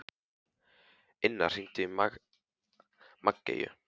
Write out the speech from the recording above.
Inna, hringdu í Maggeyju.